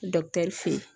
fe yen